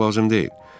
Qorxmaq lazım deyil.